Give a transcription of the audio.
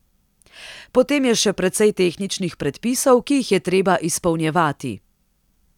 Potem je še precej tehničnih predpisov, ki jih je treba izpolnjevati.